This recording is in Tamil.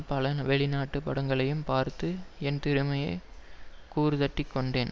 பல வெளிநாட்டுப் படங்களையும் பார்த்து என் திறமையை கூர்தட்டிக் கொண்டேன்